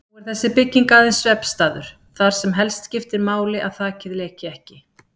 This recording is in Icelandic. Nú er þessi bygging aðeins svefnstaður, þar sem helst skiptir máli að þakið leki ekki.